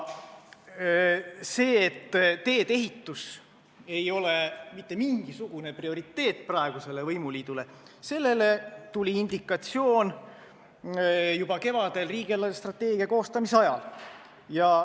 Selle kohta, et teedeehitus ei ole praegusele võimuliidule mitte mingisugune prioriteet, tuli indikatsioon juba kevadel riigi eelarvestrateegia koostamise ajal.